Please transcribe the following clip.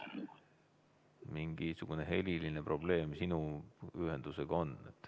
Mingisugune heliprobleem sinu ühendusega on.